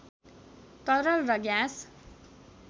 तरल र ग्यास